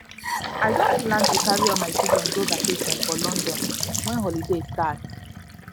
i don plan to don plan to carry all my children go vacation for london wen holiday start